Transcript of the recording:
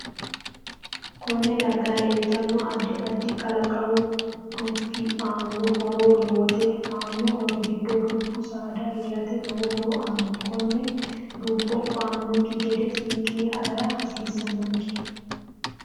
Konne darga leeltanno addi addi qalaqamu dubbi aano horo lowote aano horo giddo dubbu saada heerate lowo horo aanno konne dubbo ba'anokki gede seekine agara hasiisanonke